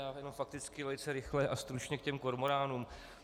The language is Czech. Já jenom fakticky, velice rychle a stručně k těm kormoránům.